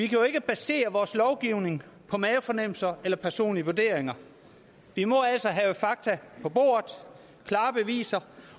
jo ikke basere vores lovgivning på mavefornemmelser eller personlige vurderinger vi må altså have fakta på bordet klare beviser